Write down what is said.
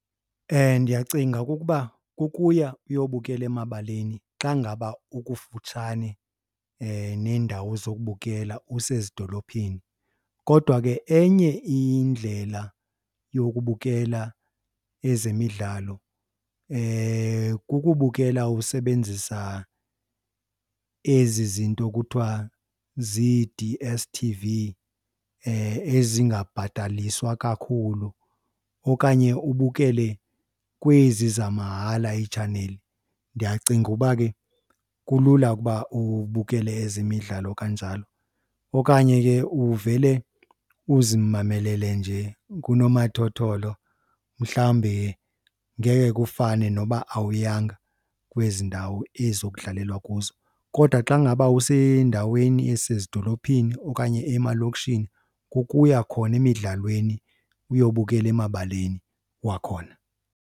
Ndiyacinga okokuba kukuya uyobukela emabaleni xa ngaba ukufutshane neendawo zokubukela usezidolophini. Kodwa ke enye indlela yokubukela ezemidlalo kukubukela usebenzisa ezi zinto kuthiwa zii-D_S_T_V ezingabhataliswa kakhulu okanye ubukele kwezi zamahala iitshaneli. Ndiyacinga uba ke kulula ukuba ubukele ezemidlalo kanjalo okanye ke uvele uzimamelele nje kunomathotholo mhlawumbe ngeke kufane noba awuyanga kwezi ndawo ezo kudlalelwa kuzo. Kodwa xa ngaba usendaweni esezidolophini okanye emalokishini, kukuya khona emidlalweni uyobukela emabaleni wakhona.